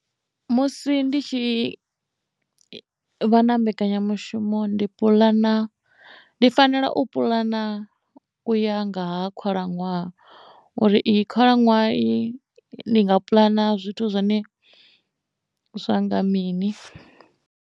Musi ndi tshi vha na mbekanyamushumo ndi puḽana ndi fanela u puḽana u ya nga ha khalaṅwaha uri i khalaṅwaha iyi ndi nga puḽana zwithu zwine zwanga mini.